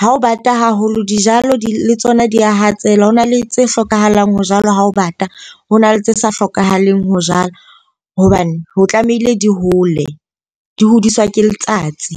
ha ho bata haholo dijalo di le tsona di a hatsela hona le tse hlokahalang. Ho jalwa ha ho bata. Ho na le tse sa hlokahaleng ho jala hobane ho tlamehile di hole, di hodiswa ke letsatsi.